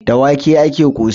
Da wake ake ƙosai.